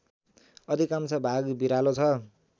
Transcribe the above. अधिकांश भाग भिरालो छ